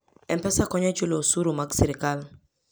M-Pesa konyo e chulo osuru mag sirkal.